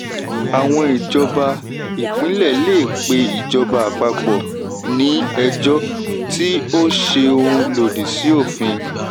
àwọn ìjọba ìpínlẹ̀ lè pé ìjọba àpapọ̀ ní ejò tí ó ṣe òun lòdì sí òfin.